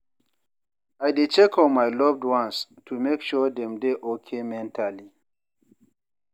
I dey check on my loved ones, to make sure dem dey okay mentally.